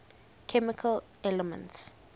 chemical elements